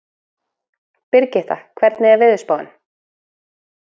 Brigitta, hvernig er veðurspáin?